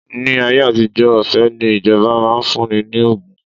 Ni ayé àtijó, ọ̀fẹ́ ni ìjọba máa ń fún ni ní ògùn